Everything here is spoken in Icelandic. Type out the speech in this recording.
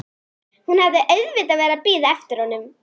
Hún hafði auðvitað verið að bíða eftir honum.